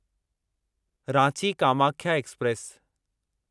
Ranchi Kamakhya express